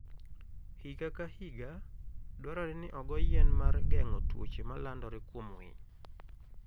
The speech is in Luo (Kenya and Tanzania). Higa ka higa, dwarore ni ogo yien mar geng'o tuoche ma landore kuom winy.